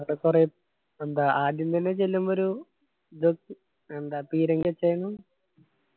അവിടെ കൊറേ എന്താ ആദ്യം തന്നെ ചെല്ലുമ്പോ ഒരു എന്താ പീരങ്കി